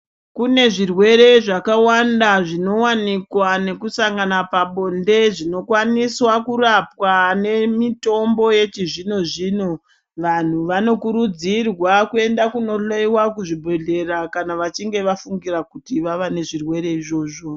Kune zvirwere zvakawanda zvinowanikwa nekusangana pabonde zvinokwaniswa kurapwa nemitombo yechizvino-zvino. Vanhu vanokurudzirwa kuenda kunohloyiwa kuzvibhedhlera kana vachinge vafungira kuti vava nezvirwere izvozvo.